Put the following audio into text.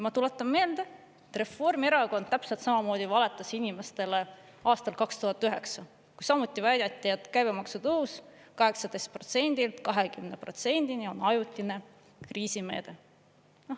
Ma tuletan meelde, et Reformierakond täpselt samamoodi valetas inimestele aastal 2009, kui samuti väideti, et käibemaksu tõus 18%-lt 20%-ni on ajutine kriisimeede.